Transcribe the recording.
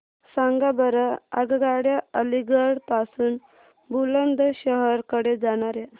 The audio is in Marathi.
सांगा बरं आगगाड्या अलिगढ पासून बुलंदशहर कडे जाणाऱ्या